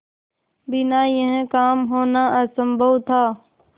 बिना यह काम होना असम्भव था